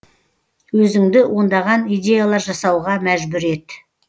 өзіңді ондаған идеялар жасауға мәжбүр ет